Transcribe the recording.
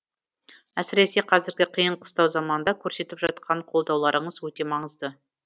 әсіресе қазіргі қиын қыстау заманда көрсетіп жатқан қолдауларыңыз өте маңызды